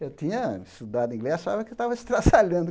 Eu tinha estudado inglês, achava eu estava estraçalhando.